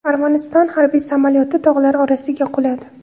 Armaniston harbiy samolyoti tog‘lar orasiga quladi.